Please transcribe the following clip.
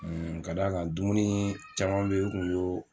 k'a d'a kan dumunii caman be ye n kun y'oo